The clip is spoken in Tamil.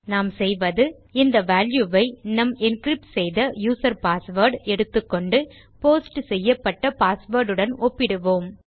நாம் செய்வது இந்த வால்யூ வை நம் என்கிரிப்ட் செய்த யூசர் பாஸ்வேர்ட் எடுத்துக்கொண்டு போஸ்ட் செய்யப்பட்ட பாஸ்வேர்ட் உடன் ஒப்பிடுவோம்